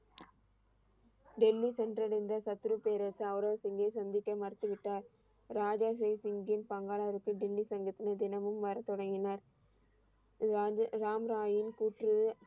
டெல்லி சென்றடைந்த சத்துரு பேரரசு அவ்ரவ் சிங்கை சந்திக்க மறுத்துவிட்டார். ராஜா தேசிங்கின் பங்காலருக்கு டெல்லி சங்கத்தினர் தினமும் வரத்தொடங்கினர். ராஜா ராம் ராயின் கூற்று,